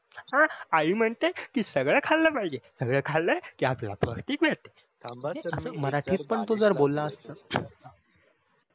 अह आई म्हणते कि सगळे खाल्ल पाहिजे सगळे खाल कि आपल्याला पौस्टिक मिळते थांबा सर मराठीत पण तू जर बोल असतात